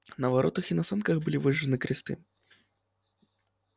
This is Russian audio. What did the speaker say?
на воротах и на санках были выжжены кресты